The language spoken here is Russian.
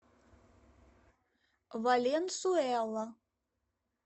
валенсуэла